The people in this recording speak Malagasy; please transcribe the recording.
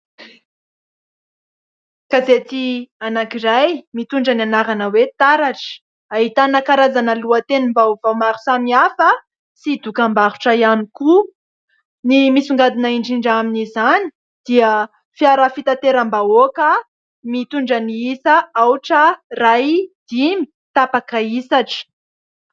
Gazety anankiray mitondra ny anarana hoe : "Taratra". Ahitana karazana lohatenim-baovao maro samihafa sy dokam-barotra ihany koa ; ny misongadina indrindra amin'izany dia fiara fitateram-bahoaka mitondra ny isa : aotra, ray, dimy ; tapaka isatra.